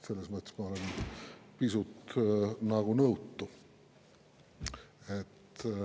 Selles mõttes ma olen nagu pisut nõutu.